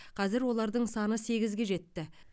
қазір олардың саны сегізге жетті